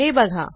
हे बघा